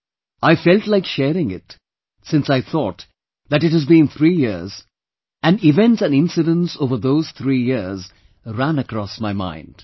Today I felt like sharing it, since I thought that it has been three years, and events & incidents over those three years ran across my mind